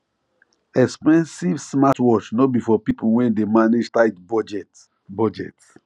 expensive smartwatch no be for people wey dey manage tight budget budget